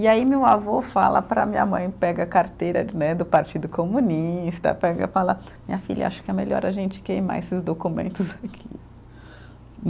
E aí meu avô fala para minha mãe, pega a carteira né do Partido Comunista, pega e fala, minha filha, acho que é melhor a gente queimar esses documentos aqui.